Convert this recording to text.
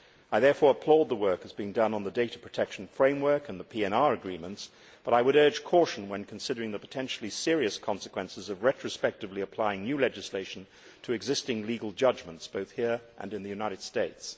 I therefore applaud the work that is being done on the data protection framework and the PNR agreements, but I would urge caution when considering the potentially serious consequences of retrospectively applying new legislation to existing legal judgments, both here and in the United States.